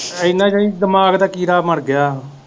ਇੰਨਾ ਦਾ ਕੀ ਦਿਮਾਗ ਦਾ ਕੀੜਾ ਮਰਗਿਆ।